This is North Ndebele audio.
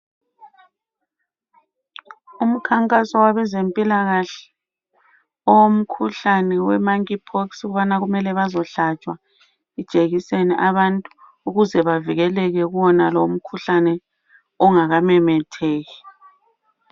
Umkhankaso wabezempilakahle owomkhuhlane we monkey pox, ukubana mele bazohlatshwa ijekiseni abantu ukuze bavikeleke kuwonalowo umkhuhlane ungakamemetheki.